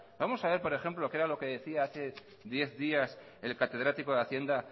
vamos a ver por ejemplo qué era lo que decía hace diez días el catedrático de hacienda